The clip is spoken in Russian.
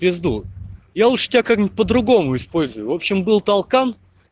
в пезду я лучше тебя как-нибудь по-другому используй в общем был толкан